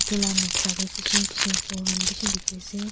edu la noksa tae kishim kishim phul khan bishi dikhiase.